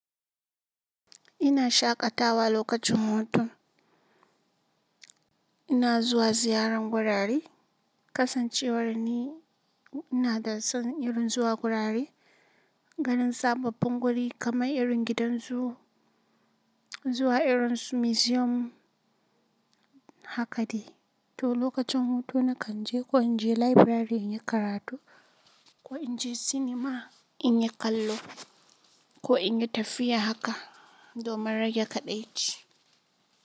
Ina shaƙatawa lokacin hutu, ina zuwa ziyaran wurare. Kasancewar ni ina da son irin zuwa gurare, ganin sababbin wuri, kamar irin gidan zoo, zuwa irin su museum, haka di. To lokacin hutu na kan je, ko in je library in yi karatu, ko in je cinema in yi kallo ko in yi tafiya haka domin rage kaɗaici.